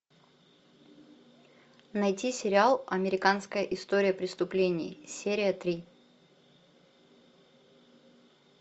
найти сериал американская история преступлений серия три